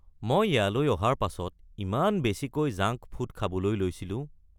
মই ইয়ালৈ অহাৰ পাছত ইমান বেছিকৈ জাংক ফুড খাবলৈ লৈছিলো।